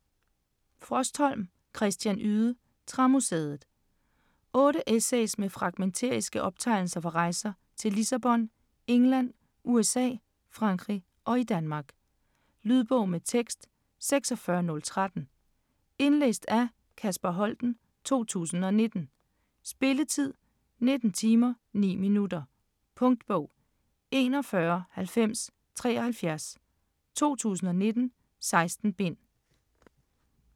Frostholm, Christian Yde: Træmuseet 8 essays med fragmentariske optegnelser fra rejser til Lissabon, England, USA, Frankrig og i Danmark. Lydbog med tekst 46013 Indlæst af Kasper Holten, 2019. Spilletid: 19 timer, 9 minutter. Punktbog 419073 2019. 16 bind.